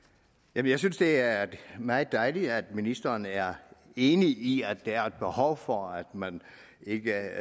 jeg synes det er meget dejligt at ministeren er enig i at der er et behov for at man ikke